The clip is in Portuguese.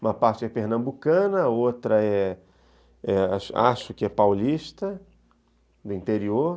Uma parte é pernambucana, outra é é acho que é paulista, do interior.